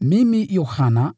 Mimi, Yohana,